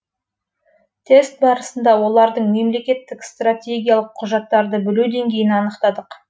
тест барысында олардың мемлекеттік стратегиялық құжаттарды білу деңгейін анықтадық